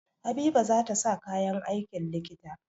Habiba za ta sa kayan aikin likita.